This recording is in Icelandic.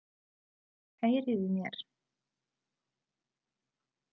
Heyriði í mér?